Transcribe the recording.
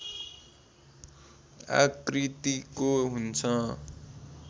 आकृतिको हुन्छ